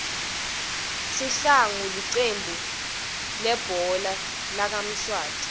sihlangu licembu lihbhola lakamswati